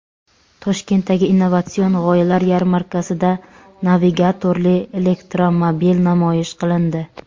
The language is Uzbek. Toshkentdagi innovatsion g‘oyalar yarmarkasida navigatorli elektromobil namoyish qilindi.